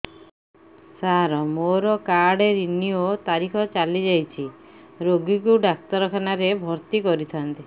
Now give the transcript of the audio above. ସାର ମୋର card renew ତାରିଖ ଚାଲି ଯାଇଛି ରୋଗୀକୁ ଡାକ୍ତରଖାନା ରେ ଭର୍ତି କରିଥାନ୍ତି